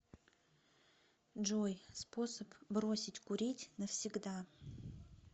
джой способ бросить курить навсегда